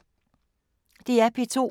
DR P2